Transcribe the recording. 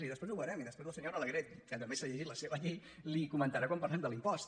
i després ho veurem i després la senyora alegret que també s’ha llegit la seva llei li ho comentarà quan parlem de l’impost